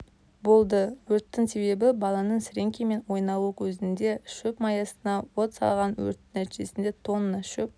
болды өрттің себебі баланың сіреңкемен ойнауы кезінде шөп маясына от салған өрттің нәтижесінде тонна шөп